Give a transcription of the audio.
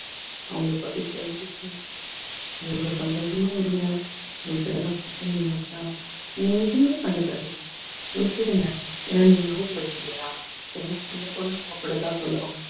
அவங்களை பத்தி தெரிஞ்சுக்கோங்க அவங்களோட சந்தோஷமும் இருங்க நீங்க எதுவுமே கண்டுக்காதீங்க விட்டுடுங்க ஏன்னா நீங்க house wife இல்லையா எதுனா சொல்லப் போனா அவங்க அப்படித்தான் சொல்லுவாங்க